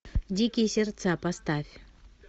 дикие сердца поставь